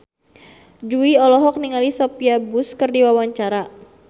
Jui olohok ningali Sophia Bush keur diwawancara